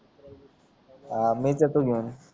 अं मीच जातो घेऊन